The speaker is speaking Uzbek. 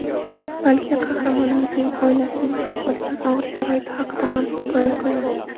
balki qahramonimizning oilasi tushib qolgan og‘ir sharoit haqida ham hikoya qilinadi.